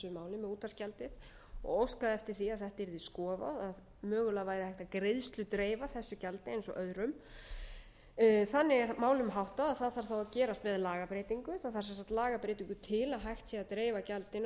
útvarpsgjaldið og óskað eftir því að þetta yrði skoðað að mögulega væri hægt að greiðsludreifa þessu gjaldi eins og öðrum þannig er málum háttað að það þarf þá að gerast með lagabreytingu það þarf lagabreytingu til að hægt sé að dreifa gjaldinu á fleiri en einn